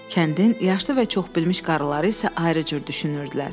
Kəndin yaşlı və çoxbilmiş qarıları isə ayrı cür düşünürdülər.